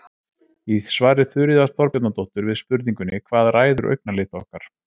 í svari þuríðar þorbjarnardóttur við spurningunni hvað ræður augnalit okkar